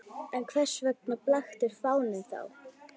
En hvers vegna blaktir fáninn þá?